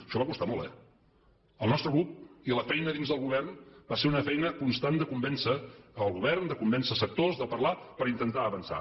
això va costar molt eh el nostre grup i la feina dins del govern va ser una feina constant de convèncer el govern de convèncer sectors de parlar per intentar avançar